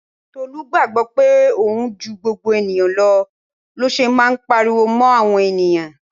Tolu gbàgbó pé òun ju gbogbo ènìyàn lọ ló ṣe máa ń pariwo mó àwọn ènìyàn.